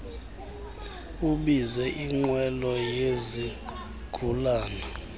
ubize inqwelo yezigulana